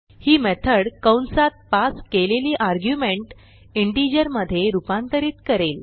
ही method कंसात pass केलेली argument integer मधे रूपांतरित करेल